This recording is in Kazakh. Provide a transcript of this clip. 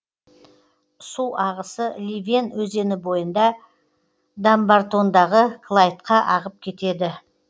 су ағысы ливен өзені бойында дамбартондағы клайдқа ағып кетеді